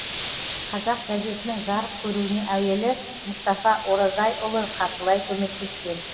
қазақ газетінің жарық көруіне әуелі мұстафа оразайұлы қаржылай көмектескен